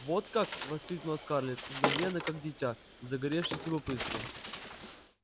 вот как воскликнула скарлетт мгновенно как дитя загоревшись любопытством